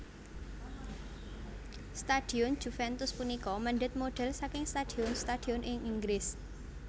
Stadion Juventus punika mèndhèt modhel saking stadion stadion ing Inggris